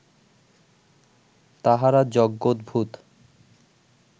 তাঁহারা যজ্ঞোদ্ভূত